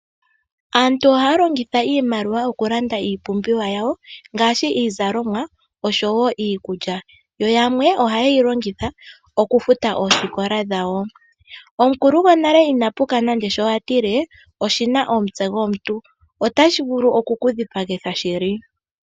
Aantu ohaya longitha iimaliwa okulanda iipumbiwa yawo ngaashi iizalomwa oshowo iikulya yo yamwe ohaye yi longitha okufuta oosikola dhawo. Omukulu gonale ina puka nando shi a tile: " Oshi na omutse omuntu." Otashi vulu oku ku dhipagitha shili.